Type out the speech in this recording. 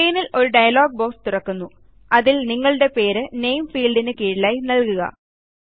സ്ക്രീനിൽ ഒരു dialog box തുറക്കുന്നു അതിൽ നിങ്ങളുടെ പേര് നാമെ ഫീൽഡിന് കീഴിലായി നൽകുക